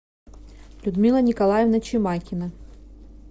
людмила николаевна чемакина